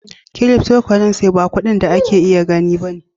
" cryptocurrencies " ba kudin da ake gani ne ba.